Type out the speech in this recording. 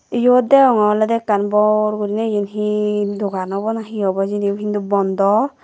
yot degonge olode ekkan bor gurine yen hee dogan obo na hee obow hijeni hindu bondo.